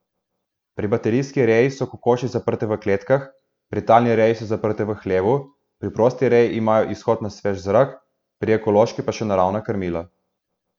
Pri baterijski reji so kokoši zaprte v kletkah, pri talni reji so zaprte v hlevu, pri prosti reji imajo izhod na svež zrak, pri ekološki pa še naravna krmila.